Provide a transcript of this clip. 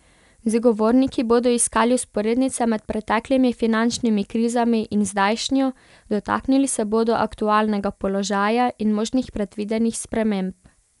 Z govorniki bodo iskali vzporednice med preteklimi finančnimi krizami in zdajšnjo, dotaknili se bodo aktualnega položaja in možnih predvidenih sprememb.